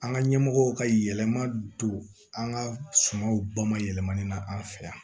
An ka ɲɛmɔgɔw ka yɛlɛma don an ka sumaw ba ma yɛlɛmani na an fɛ yan